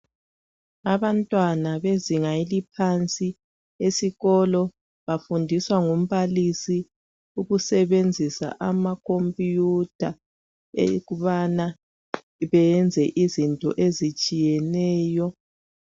Abantwana bezinga eliphansi esilolo bafundiswa ngumbalisi ukusebenzisa amakhomputha bayabala beyenze izinto ezitshiyeneyo.